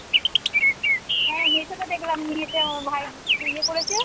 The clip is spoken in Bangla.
হ্যাঁ Meeshoতো দেখলাম নিয়েছে আমার ভাই খুব ইয়ে করেছে